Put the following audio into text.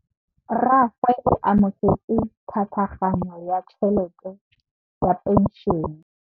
Rragwe o amogetse tlhatlhaganyô ya tšhelête ya phenšene.